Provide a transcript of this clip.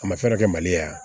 A ma fɛn kɛ mali la yan